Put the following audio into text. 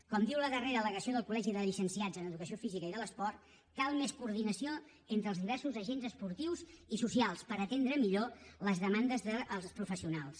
com diu la darrera al·legació del colen educació física i de l’esport cal més coordinació entre els diversos agents esportius i socials per atendre millor les demandes dels professionals